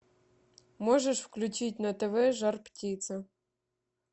можешь включить на тв жар птица